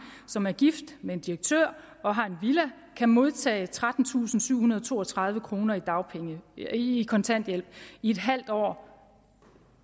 som er gift med en direktør og har en villa kan modtage trettentusinde og syvhundrede og toogtredive kroner i kontanthjælp i en halv år